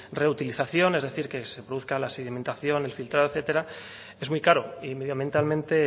reutilización es decir que se produzca la sedimentación el filtrado etcétera es muy caro y medioambientalmente